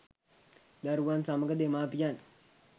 දරුවන් සමග දෙමාපියන්